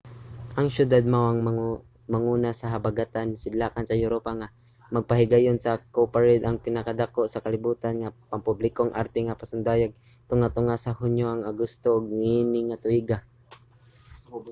ang siyudad mao ang manguna sa habagatan-sidlakan sa europa nga magpahigayon sa cowparade ang pinakadako sa kalibutan nga pampublikong arte nga pasundayag tunga-tunga sa hunyo ug agosto niining tuiga